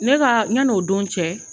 Ne ka yanni o don cɛ.